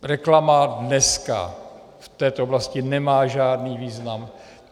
Reklama dneska v této oblasti nemá žádný význam.